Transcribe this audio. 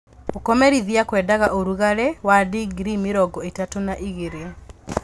Gũkomerithia kwendaga ũrugarĩ wa dingirii mĩrongo ĩtatu na igĩrĩ.